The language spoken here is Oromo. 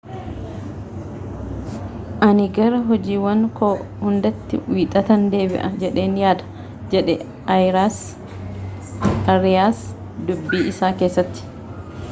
ani gara hojiiwwan koo hundaatti wiixatan deebi'a jedheen yaada jedhe aariyaas dubbii isaa keessatti